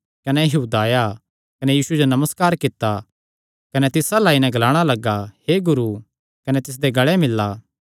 सैह़ आया कने नमस्कार कित्ता कने तिस अल्ल आई नैं ग्लाया हे गुरू कने तिसदे गल़ें मिल्ला